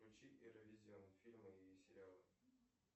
включи эра визион фильмы и сериалы